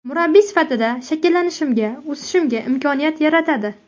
Murabbiy sifatida shakllanishimga, o‘sishimga imkoniyat yaratadi.